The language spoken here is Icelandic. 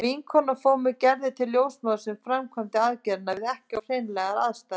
Vinkona fór með Gerði til ljósmóður sem framkvæmdi aðgerðina við ekki of hreinlegar aðstæður.